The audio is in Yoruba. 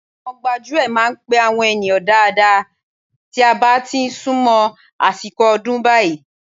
Àwọn gbájúẹ̀ máa ń pe àwọn ènìyàn dáadáa tí a bá ti sún mọ́ àsìkò ọdún báyìí